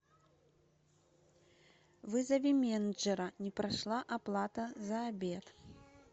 вызови менеджера не прошла оплата за обед